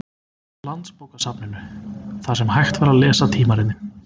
Landsbókasafninu, þar sem hægt var að lesa tímaritin.